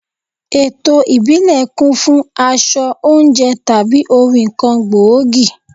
Eto ìbílẹ̀ kún fún aṣọ, oúnjẹ tàbí orin kan gbòógì.